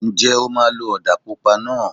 Ǹjẹ́ o máa lo ọ̀dà pupa náà?